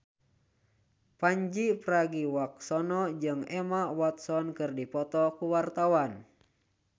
Pandji Pragiwaksono jeung Emma Watson keur dipoto ku wartawan